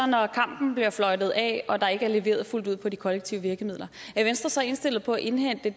når kampen bliver fløjtet af og der ikke er leveret fuldt ud på de kollektive virkemidler er venstre så indstillet på at indhente